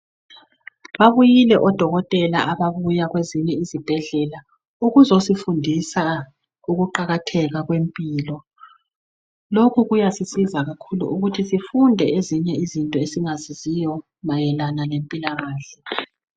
Babuyile odokotela ababuya kwezinye izibhedlela ukuzosifundisa ukuqakatheka kwempilo. Lokhu kuyasisiza kakhulu ukuthi sifunde ezinye izinto esingazaziyo mayelana lempilakahle.